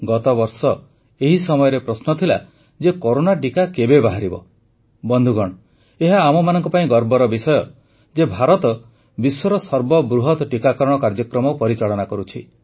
ଗତବର୍ଷ ଏହି ସମୟରେ ପ୍ରଶ୍ନ ଥିଲା ଯେ କରୋନା ଟିକା କେବେ ବାହାରିବ ବନ୍ଧୁଗଣ ଏହା ଆମମାନଙ୍କ ପାଇଁ ଗର୍ବର ବିଷୟ ଯେ ଭାରତ ବିଶ୍ୱର ସର୍ବବୃହତ ଟିକାକରଣ କାର୍ଯ୍ୟକ୍ରମ ପରିଚାଳିତ କରୁଛି